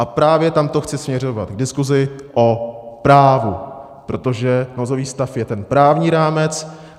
A právě tam to chci směřovat, diskuzi o právu, protože nouzový stav je ten právní rámec.